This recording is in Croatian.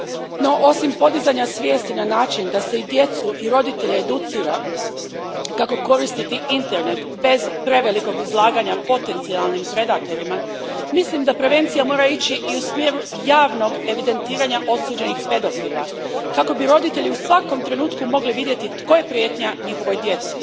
No, osim podizanja svijesti na način da se i djecu i roditelje educira kako koristiti internet bez prevelikog izlaganja potencijalnim predatorima, mislim da prevencija mora ići i u smjeru javnog evidentiranja osuđenih pedofila, kako bi roditelji u svakom trenutku mogli vidjeti tko je prijetnja njihovoj djeci.